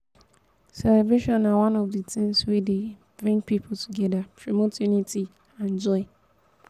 celebrations na one of di tings wey dey bring people together promote unity and joy.